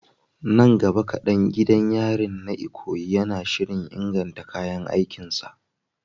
Nan gaba kadan, gidan yarin na Ikoyi yana shirin inganta kayan aikin sa.